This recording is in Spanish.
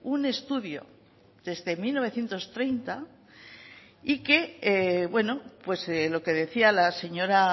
un estudio desde mil novecientos treinta y que bueno pues lo que decía la señora